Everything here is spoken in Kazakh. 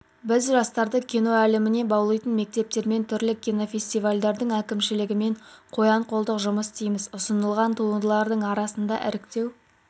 біз жастарды кино әлеміне баулитын мектептермен түрлі кинофестивальдердің әкімшілігімен қоян-қолтық жұмыс істейміз ұсынылған туындылардың арасында іріктеу